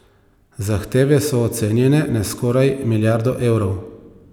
Zahteve so ocenjene na skoraj milijardo evrov.